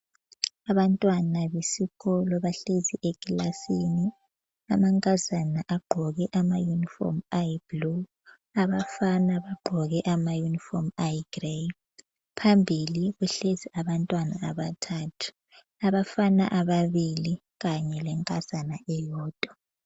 Abantwana besikolo bahlezi ekilasini. Amankazana agqoke amayunifomu ayiblue, abafana bagqoke amayunifomu ayigrey. Phambili kuhlezi abantwana abathathu, abafana ababili kanye lenkazana eyodwa.